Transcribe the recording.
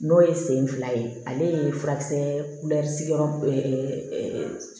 N'o ye sen fila ye ale ye furakisɛ